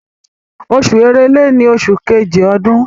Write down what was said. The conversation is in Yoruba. Oṣù Èrèlè ni oṣù Kejì ọdún.